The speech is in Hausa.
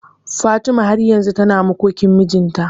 Fatima har yanzu tana makokin mijinta.